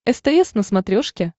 стс на смотрешке